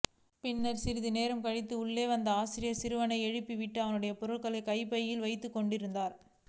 பின்னர் சிறிது நேரம் கழித்து உள்ளே வந்த ஆசிரியர் சிறுவனை எழுப்பிவிட்டு அவனுடைய பொருட்களை கைப்பையில் வைத்துக்கொண்டிருந்தார்